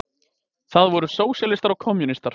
Það voru sósíalistar og kommúnistar.